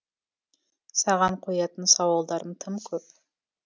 саған қоятын сауалдарым тым көп